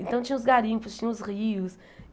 Então tinha os garimpos, tinha os rios.